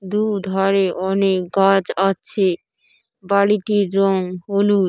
দু ধারে অনেক গাছ আছে। বাড়িটির রং হলুদ।